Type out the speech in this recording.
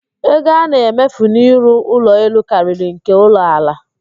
Ego a na-emefu n'ịrụ ụlọ elu karịrị nke ụlọ ala